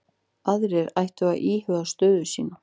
Aðrir ættu að íhuga sína stöðu